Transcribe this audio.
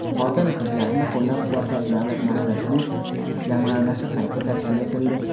Xotin-qizlarni qo‘llab-quvvatlash davlat maqsadli jamg‘armasi qayta tashkil etildi.